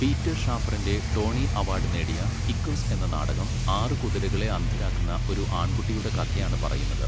Peter ഷാഫറിന്റെ Tony award നേടിയ Equus എന്ന നാടകം ആറ് കുതിരകളെ അന്ധരാക്കുന്ന ഒരു ആൺകുട്ടിയുടെ കഥയാണ് പറയുന്നത്.